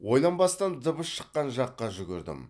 ойланбастан дыбыс шыққан жаққа жүгірдім